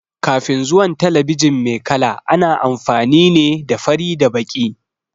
Kafin zuwan talabijin mai kala, ana amfani ne da fari da baƙi.